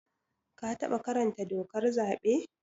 Ka taɓa karanta dokar zaɓe?